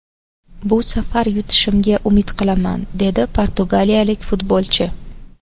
Bu safar yutishimga umid qilaman”, – dedi portugaliyalik futbolchi.